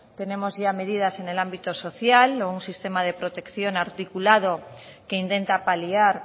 tenemos ya medidas en el ámbito social o un sistema de protección articulado que intenta paliar